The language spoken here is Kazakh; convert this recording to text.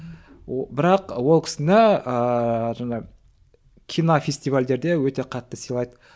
бірақ ол кісіне ыыы жаңағы кинофестивальдерде өте қатты сыйлайды